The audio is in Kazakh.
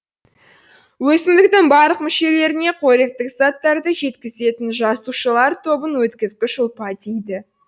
өсімдіктің барлық мүшелеріне қоректік заттарды жеткізетін жасушалар тобын өткізгіш ұлпа дейді